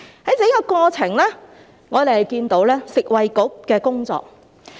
在整個過程中，我們看到食物及衞生局同事的工作。